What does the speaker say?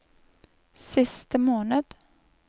siste måned